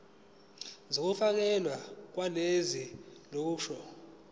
zokufakelwa kolwazi olusha